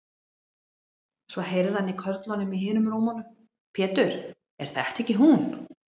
Svo heyrði hann í körlunum í hinum rúmunum: Pétur, er þetta ekki hún.